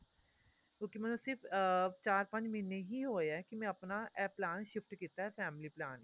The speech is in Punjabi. ਕਿਉਂਕਿ ਮੈਂਨੂੰ ਸਿਰਫ ਅਹ ਚਾਰ ਪੰਜ ਮਹੀਨੇ ਹੀ ਹੋਏ ਆ ਕੀ ਮੈਂ ਆਪਣਾ ਇਹ plan shift ਕੀਤਾ family plan